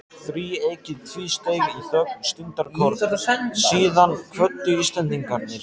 Þríeykið tvísteig í þögn stundarkorn, síðan kvöddu Íslendingarnir.